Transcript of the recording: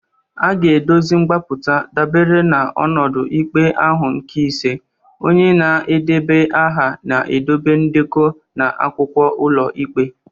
A ga-edozi mgbapụta dabere n’ọnọdụ ikpe ahụ nke ise. Onye na-edeba aha na-edobe ndekọ na akwụkwọ ụlọikpe.